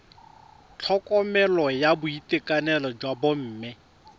tlhokomelo ya boitekanelo jwa bomme